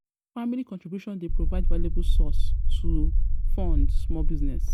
Family contributions dey provide valuable source to um fund um small business.